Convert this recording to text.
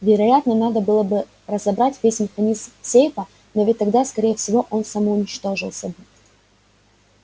вероятно надо было бы разобрать весь механизм сейфа но ведь тогда скорее всего он самоуничтожился бы